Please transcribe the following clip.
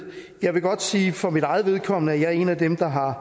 jeg vil godt sige for mit eget vedkommende at jeg er en af dem der har